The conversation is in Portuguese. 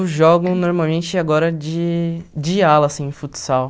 jogo normalmente agora de de ala, assim, no futsal.